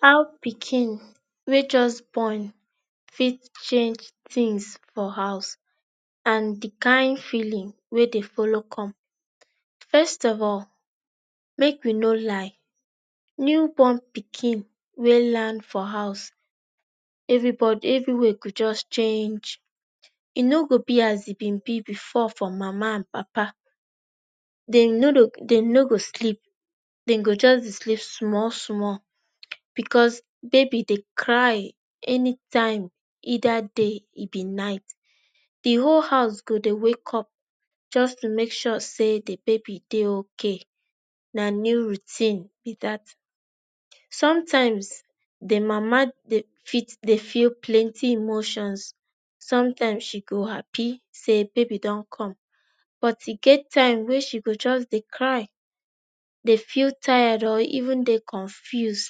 how pikin, wey just born fit change things for house and the kain feeling wey dey follow come? first of all, make we no lie, newborn pikin wey land for house everybody everywhere go just change. e no go be as e bin be before for mama and papa. dem no no, dem no go sleep dem go just dey sleep small small because baby dey cry anytime either day e be night. the whole house go dey wake up just to make sure say the baby dey okay. na new routine be that. sometimes the mama dey fit dey feel plenty emotions. some times she go happy say baby dun come but e get time wey she go just dey cry, dey feel tired or even dey confuse.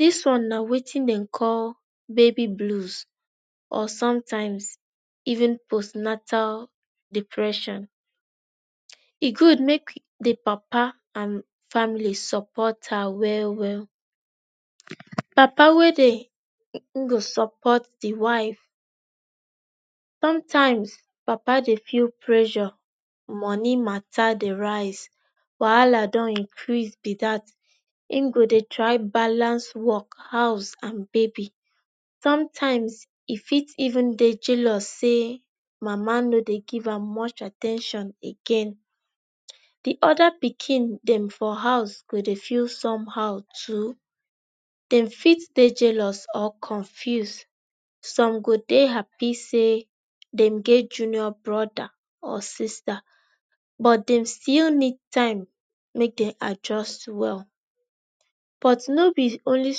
this one na wetin dem call 'baby blues'or sometimes 'post natal depression' um e good make the papa and family support her well well. papa wey dey support the wife sometimes papa dey feel pressure. money mata dey rise, wahala dun increase be that. e go dey try balance work, house and baby. sometimes e fit even dey jealous say mama no dey give am much at ten tion again. the other pikin dem for house go dey feel somehow too. dem fit dey jealous or confuse. some go dey happy say dem get junior brother or sister but dem still need time make dem adjust well. but no be only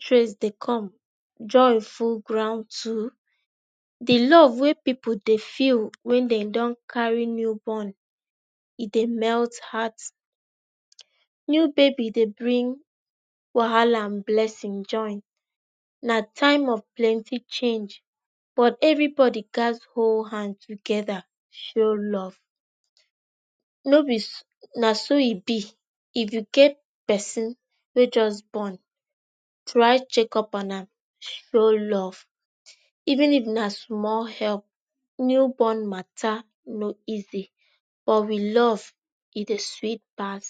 stress dey come, joy full ground too. the love wey people dey feel when dem dun carry new born e dey melt heart. new baby dey bring wahahla and blessing join. na time of plent change but everybody gats hol hand together to show love. no be na so e be if you get pesin wey just born try check up on am show love, even if na small help, new born mata no easy but with love e dey sweet pass.